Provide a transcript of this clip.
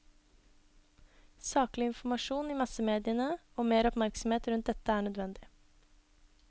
Saklig informasjon i massemediene og mer oppmerksomhet rundt dette er nødvendig.